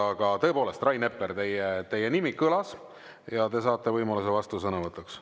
Aga tõepoolest, Rain Epler, teie nimi kõlas ja te saate võimaluse vastusõnavõtuks.